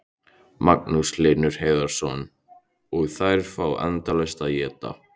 Magnús Hlynur Hreiðarsson: Og þær fá endalaust að éta?